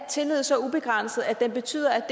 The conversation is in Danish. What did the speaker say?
tillid så ubegrænset at den betyder